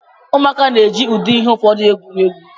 Ụmụaka na-eji ụdị ihe ụfọdụ egwuri egwu.